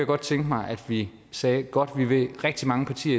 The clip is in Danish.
godt tænke mig at vi sagde godt vi vi er rigtig mange partier